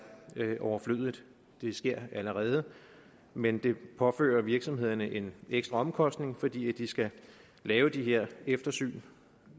overflødigt det sker allerede men det påfører virksomhederne en ekstra omkostning fordi de skal lave de her eftersyn